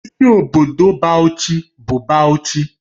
Isi obodo Bauchi bụ Bauchi